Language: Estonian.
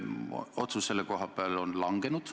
Otsus selle kohta on langenud.